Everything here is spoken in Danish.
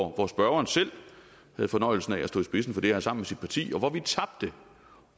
hvor spørgeren selv havde fornøjelsen af at stå i spidsen for det her sammen med sit parti og hvor vi tabte